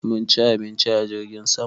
Mun ci abinci a jirgin sama.